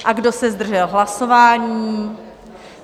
A kdo se zdržel hlasování?